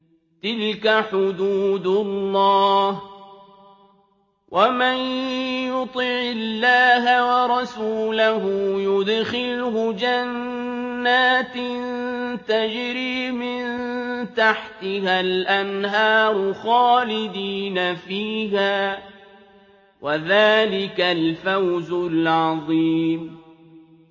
تِلْكَ حُدُودُ اللَّهِ ۚ وَمَن يُطِعِ اللَّهَ وَرَسُولَهُ يُدْخِلْهُ جَنَّاتٍ تَجْرِي مِن تَحْتِهَا الْأَنْهَارُ خَالِدِينَ فِيهَا ۚ وَذَٰلِكَ الْفَوْزُ الْعَظِيمُ